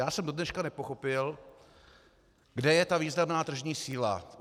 Já jsem dodneška nepochopil, kde je ta významná tržní síla.